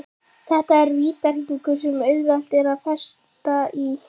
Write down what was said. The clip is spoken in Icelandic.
Þetta er vítahringur sem auðvelt er að festast í.